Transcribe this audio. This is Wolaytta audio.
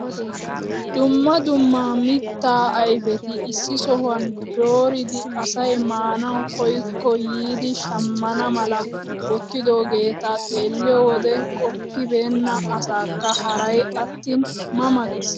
Dumma dumma mittaa ayfeta issi sohuwaan dooridi asay maanawu koyikko yiidi shammana mala wottidoogeta xeelliyoo wode qoppibena asaakka haray attin ma ma gees.